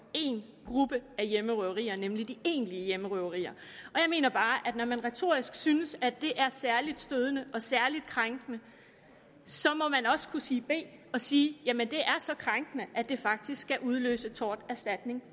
én gruppe af hjemmerøverier nemlig de egentlige hjemmerøverier og jeg mener bare at når man retorisk synes at det er særlig stødende og særlig krænkende så må man også kunne sige b og sige jamen det er så krænkende at det faktisk skal udløse torterstatning